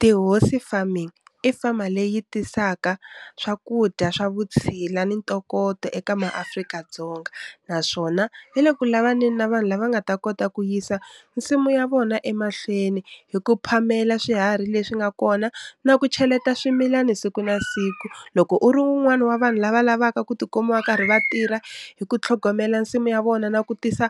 Tihosi farming, i fama leyi tisaka swakudya swa vutshila ni ntokoto eka maAfrika-Dzonga, naswona yi le ku lavaneni na vanhu lava nga ta kota ku yisa nsimu ya vona emahlweni hi ku phamela swiharhi leswi nga kona na ku cheleta swimilani siku na siku, loko u ri wun'wani wa vanhu lava lavaka ku tikuma va karhi va tirha hi ku tlhogomela nsimu ya vona na ku tisa